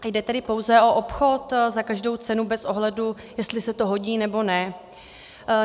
Jde tedy pouze o obchod za každou cenu bez ohledu, jestli se to hodí, nebo ne?